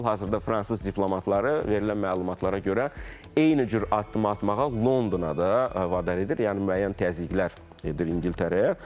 Hal-hazırda fransız diplomatları verilən məlumatlara görə eyni cür addım atmağa Londona da vadar edir, yəni müəyyən təzyiqlər edir İngiltərəyə.